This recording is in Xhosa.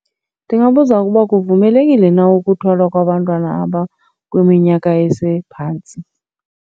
Ndingabuza ukuba kuvumelekile na ukuthwala kwabantwana abakwiminyaka esephantsi.